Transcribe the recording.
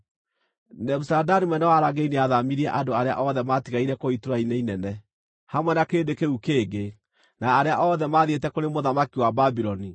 Nebuzaradani mũnene wa arangĩri nĩathaamirie andũ arĩa othe maatigaire kũu itũũra-inĩ inene, hamwe na kĩrĩndĩ kĩu kĩngĩ, na arĩa othe maathiĩte kũrĩ mũthamaki wa Babuloni.